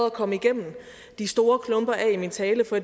at komme igennem de store klumper af i min tale for